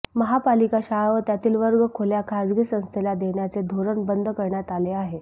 महापालिका शाळा व त्यातील वर्गखोल्या खाजगी संस्थेला देण्याचे धोरण बंद करण्यात आले आहे